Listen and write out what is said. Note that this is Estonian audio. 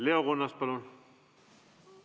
Leo Kunnas, palun!